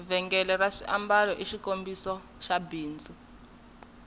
vhengele ra swiambalo i xikombiso xa bindzu